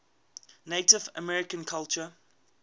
native american culture